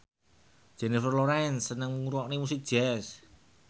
Jennifer Lawrence seneng ngrungokne musik jazz